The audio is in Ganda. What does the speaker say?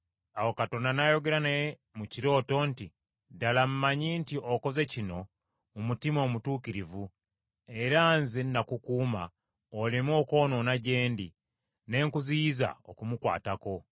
Awo Katonda n’ayogera naye mu kirooto nti, “Ddala mmanyi nti okoze kino mu mutima omutuukirivu, era nze nakukuuma oleme okwonoona gye ndi; ne nkuziyiza okumukwatako.